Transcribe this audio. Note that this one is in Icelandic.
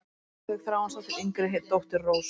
Heiðveig Þráinsdóttir, yngri dóttir Rósu.